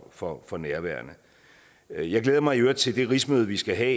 for for nærværende jeg jeg glæder mig i øvrigt til det rigsmøde vi skal have